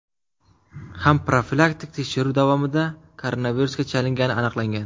ham profilaktik tekshiruv davomida koronavirusga chalingani aniqlangan.